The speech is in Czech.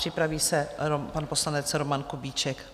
Připraví se pan poslanec Roman Kubíček.